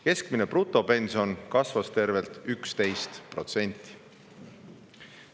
Keskmine brutopension kasvas tervelt 11%.